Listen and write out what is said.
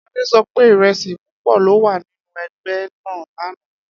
Ade so pe iresi pupo lo wa ninu egbe naa lana.